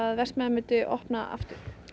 verksmiðjan myndi opna aftur